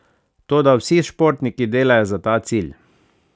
Toda vsi športniki delajo za ta cilj.